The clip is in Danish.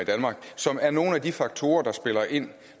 som er nogle af de faktorer der spiller ind